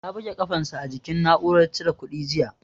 Ya buga kafan sa a jikin na'uran cire kuɗi jiya